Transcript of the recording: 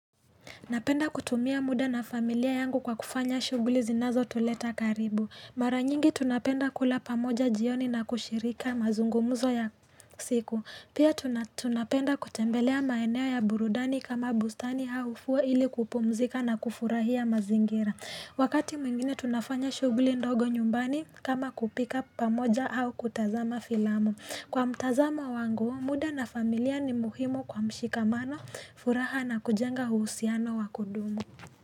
Napenda kutumia muda na familia yangu kwa kufanya shuguli zinazo tuleta karibu Mara nyingi tunapenda kula pamoja jioni na kushirika mazungumuzo ya siku Pia tunapenda kutembelea maeneo ya burudani kama bustani au fuwa ili kupumzika na kufurahia mazingira Wakati mwingine tunafanya shuguli ndogo nyumbani kama kupika pamoja au kutazama filamu Kwa mtazamo wangu, muda na familia ni muhimu kwa mshikamano, furaha na kujenga uhusiano wa kudumu.